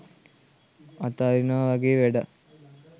අතාරිනවා වගේ වැඩක්.